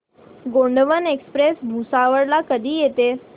Gondwana express Bhusawal ला कधी येते